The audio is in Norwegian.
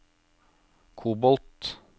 kobolt